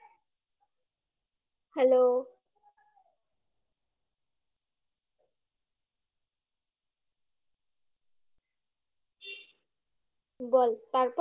hello বল তারপর?